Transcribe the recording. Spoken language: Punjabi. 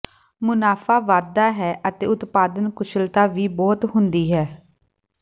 ਮੁਨਾਫਾ ਵਧਦਾ ਹੈ ਅਤੇ ਉਤਪਾਦਨ ਕੁਸ਼ਲਤਾ ਵੀ ਬਹੁਤ ਹੁੰਦੀ ਹੈ